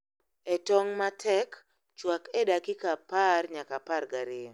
E tong' matek, chwak e dakika apar nyaka apar gariyo